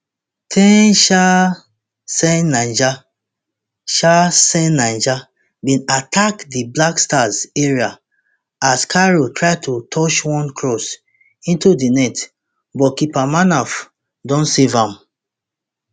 ten chaaaaanceniger chaaaaanceniger bin attack di black stars area as kairou try to touch one cross into di net but keeper manaf don save am